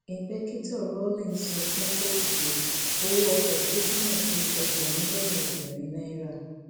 ìpèkìtò rawling sọ fún kóòtù pé owó ọkọ tó jí náà tó ẹgbẹrún lọnà ẹgbẹrin náírà